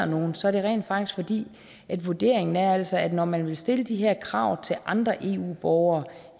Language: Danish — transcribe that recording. nogen så er det rent faktisk fordi vurderingen altså er at når man vil stille de her krav til andre eu borgere